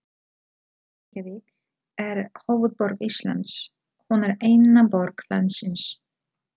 Reykjavík er höfuðborg Íslands. Hún er eina borg landsins.